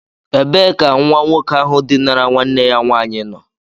Ebee ka nwa nwoke ahu dinara nwanne ya nwaanyị nọ?